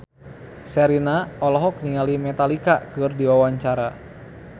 Sherina olohok ningali Metallica keur diwawancara